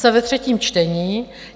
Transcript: Jsme ve třetím čtení.